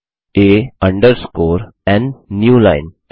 sum a underscore n new line